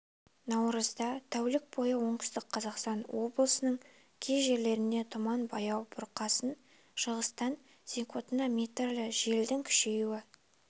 наурызда тәулік бойы оңтүстік қазақстан облысының кей жерлерінде тұман баяу бұрқасын шығыстан секундына метрлі желдің күшеюі